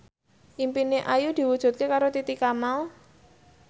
impine Ayu diwujudke karo Titi Kamal